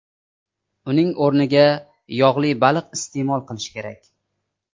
Uning o‘rniga yog‘li baliq iste’mol qilish kerak.